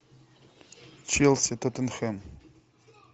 челси тоттенхэм